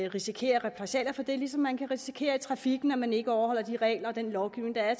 risikere repressalier for det ligesom man kan risikere det i trafikken når man ikke overholder de regler og den lovgivning der er